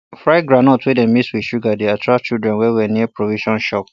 fried groundnut wey dem mix with sugar dey attract children well well near provision shop